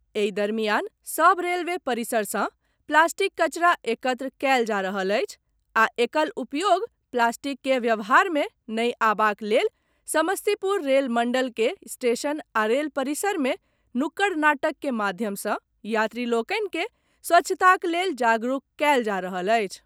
एहि दरमियान सभ रेलवे परिसर सॅ प्लास्टिक कचरा एकत्र कयल जा रहल अछि आ एकल उपयोग प्लास्टिक के व्यवहार मे नहि आबाक लेल समस्तीपुर रेल मंडल के स्टेशन आ रेल परिसर मे नुक्कड़ नाटक के माध्यम सॅ यात्री लोकनि के स्वच्छताक लेल जागरूक कयल जा रहल अछि।